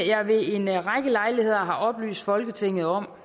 jeg ved en række lejligheder har oplyst folketinget om